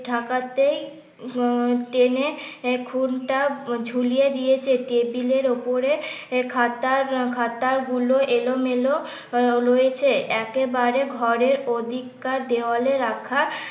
ঢাকাতেই টেনে ঝুলিয়ে দিয়েছে টেবিলের উপরে খাতা খাতাগুলো এলোমেল রয়েছে একেবারে ঘরের ওদিককার দেওয়ালে রাখা